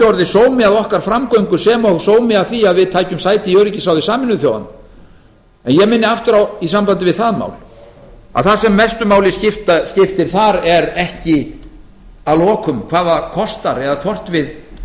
orðið sómi að okkar framgöngu sem og sómi að því að við tækjum sæti í öryggisráði sameinuðu þjóðanna en ég minni aftur á í sambandi við það mál að það sem mestu máli skiptir þar er ekki að lokum hvað það kostar eða með hvaða